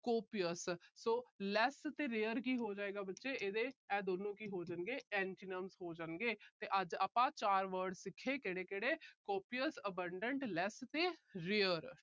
copious so less ਤੇ rare ਕੀ ਹੋ ਜਾਏਗਾ। ਬੱਚੇ ਇਹ ਦੋਨੋਂ ਕੀ ਹੋ ਜਾਣਗੇ, ਇਹਦੇ antonyms ਹੋ ਜਾਣਗੇ ਤੇ ਅੱਜ ਆਪਾ ਚਾਰ word ਸਿੱਖੇ ਕਿਹੜੇ ਕਿਹੜੇ copious abandon less ਤੇ rare